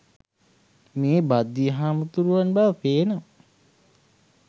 මේ භද්දිය හාමුදුරුවන් බව පේනවා.